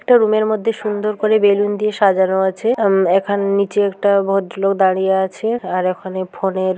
একটা রুম -এর মধ্যে সুন্দর করে বেলুন দিয়ে সাজানো আছে আ-ম এখানে নিচে একটা ভদ্রলোক দাঁড়িয়ে আছে আর এখানে ফোন এর--